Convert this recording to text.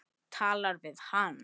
Talar við hann.